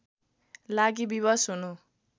लागि विवश हुनु